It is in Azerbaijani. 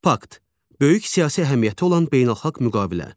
Böyük siyasi əhəmiyyəti olan beynəlxalq müqavilə.